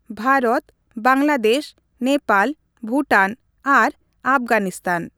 ᱵᱷᱟᱨᱚᱛ, ᱵᱟᱝᱞᱟᱫᱮᱥ, ᱱᱮᱯᱟᱞ, ᱵᱷᱩᱴᱟᱱ, ᱟᱨ ᱟᱯᱷᱜᱟᱱᱤᱥᱛᱟᱱ ᱾